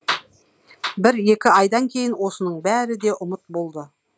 бір екі айдан кейін осының бәрі де ұмыт болды